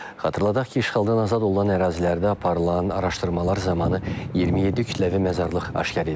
Xatırladaq ki, işğaldan azad olunan ərazilərdə aparılan araşdırmalar zamanı 27 kütləvi məzarlıq aşkar edilib.